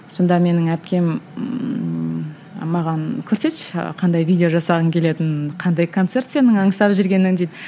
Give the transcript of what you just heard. сонда менің әпкем маған көрсетші қандай видео жасағың келетінін қандай концерт сенің аңсап жүргенің дейді